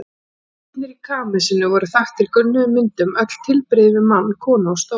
Veggirnir í kamesinu voru þaktir gulnuðum myndum, öll tilbrigði við mann, konu og stól.